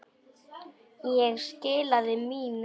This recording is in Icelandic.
Ég skilaði mínu.